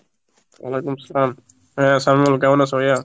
ওয়ালাইকুম সালাম, হ্যাঁ সাইমুল কেমন আছো, ভাইয়া?